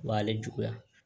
O b'ale juguya